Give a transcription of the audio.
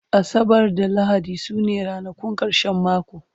asabar da lahadi sune ranakun karshen mako